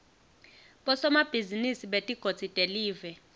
bosomabhizinisi betigodzi telive